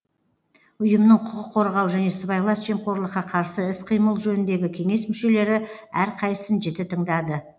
ұйымның құқық қорғау және сыбайлас жемқорлыққа қарсы іс қимыл жөніндегі кеңес мүшелері әрқайсысын жіті тыңдады